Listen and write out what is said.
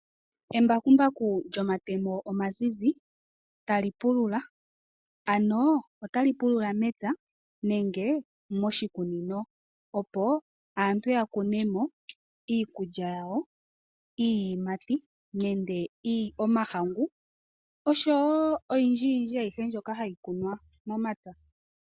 Embakumbaku lyomatemo omazizi tali pulula, ano otali pulula mepya nenge moshikunino opo aantu yakune mo iikulya yawo, iiyimati , nenge omahangu oshowo oyindji yindji ayihe mbyoka hayi kunwa momapya.